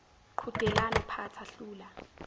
qhudelana phatha hlula